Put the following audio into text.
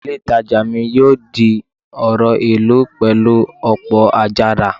Ilé ìtajà mi yóò di ọ̀rọ̀ ìlú pẹ̀lú ọ̀pọ̀ àjàrà